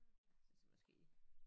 Altså så måske